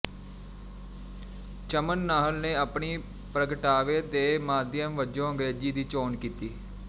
ਚਮਨ ਨਾਹਲ ਨੇ ਆਪਣੀ ਪ੍ਰਗਟਾਵੇ ਦੇ ਮਾਧਿਅਮ ਵਜੋਂ ਅੰਗ੍ਰੇਜ਼ੀ ਦੀ ਚੋਣ ਕੀਤੀ